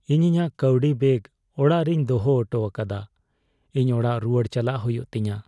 ᱤᱧ ᱤᱧᱟᱜ ᱠᱟᱹᱣᱰᱤ ᱵᱮᱜ ᱚᱲᱟᱜ ᱨᱮᱧ ᱫᱚᱦᱚ ᱚᱴᱚᱣᱟᱠᱟᱫᱟ ᱾ ᱤᱧ ᱚᱲᱟᱜ ᱨᱩᱣᱟᱹᱲ ᱪᱟᱞᱟᱜ ᱦᱩᱭᱩᱜ ᱛᱤᱧᱟ ᱾